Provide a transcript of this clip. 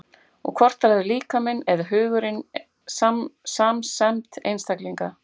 Og hvort ræður líkaminn eða hugurinn samsemd einstaklinga?